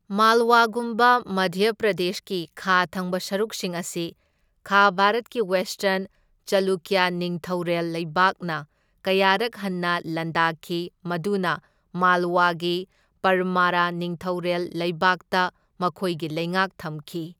ꯃꯥꯜꯋꯥꯒꯨꯝꯕ ꯃꯙ꯭ꯌ ꯄ꯭ꯔꯗꯦꯁꯀꯤ ꯈꯥ ꯊꯪꯕ ꯁꯔꯨꯛꯁꯤꯡ ꯑꯁꯤ ꯈꯥ ꯚꯥꯔꯠꯀꯤ ꯋꯦꯁꯇꯔꯟ ꯆꯥꯂꯨꯀ꯭ꯌ ꯅꯤꯡꯊꯧꯔꯦꯜ ꯂꯩꯕꯥꯛꯅ ꯀꯌꯥꯔꯛ ꯍꯟꯅ ꯂꯥꯟꯗꯥꯈꯤ ꯃꯗꯨꯅ ꯃꯥꯜꯋꯥꯒꯤ ꯄꯔꯃꯔꯥ ꯅꯤꯡꯊꯧꯔꯦꯜ ꯂꯩꯕꯥꯛꯇ ꯃꯈꯣꯏꯒꯤ ꯂꯩꯉꯥꯛ ꯊꯝꯈꯤ꯫